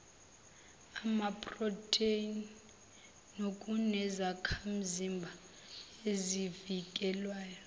amaphrotheni nokunezakhamzimba ezivikelayo